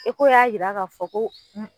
y'a yira k'a fɔ ko m